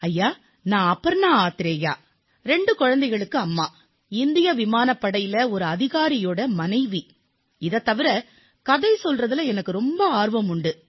ஐயா நான் அபர்ணா ஆத்ரேயா நான் இரு குழந்தைகளுக்குத் தாய் இந்திய விமானப்படையின் ஒரு அதிகாரியினுடைய மனைவி தவிர கதை சொல்வதிலே எனக்குப் பேரார்வம் உண்டு